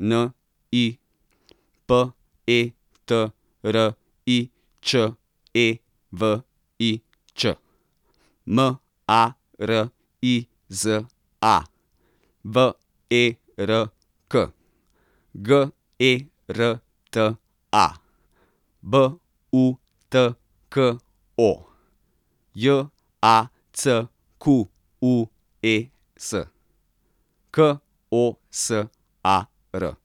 N I, P E T R I Č E V I Ć; M A R I Z A, V E R K; G E R T A, B U T K O; J A C Q U E S, K O S A R.